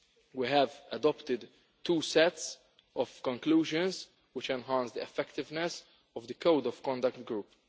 We have adopted two sets of conclusions which enhance the effectiveness of the Code of Conduct Group.